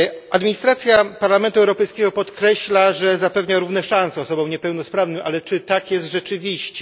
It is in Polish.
Administracja Parlamentu Europejskiego podkreśla, że zapewnia równe szanse osobom niepełnosprawnym, ale czy tak jest rzeczywiście?